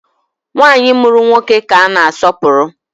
Nwanyị mụrụ nwoke ka a na asọpụrụ